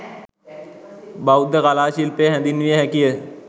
බෞද්ධ කලා ශිල්පය හැඳින්විය හැකි ය.